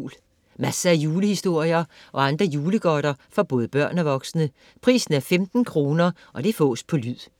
Masser af julehistorier og andre julegodter for både børn og voksne. Pris 15 kr. Fås på lyd